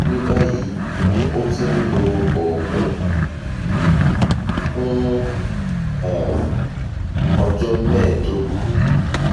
ní báyìí ó ti ń lo oògùn um fún um ọjọ mẹẹẹdógún